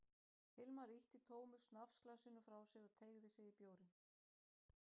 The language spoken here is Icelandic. Hilmar ýtti tómu snafsglasinu frá sér og teygði sig í bjórinn.